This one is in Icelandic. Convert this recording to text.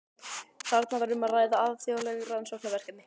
Þarna var um að ræða alþjóðleg rannsóknarverkefni.